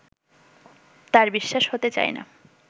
তাঁর বিশ্বাস হতে চায় না